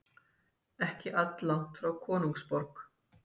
Ekki alllangt frá konungsborg.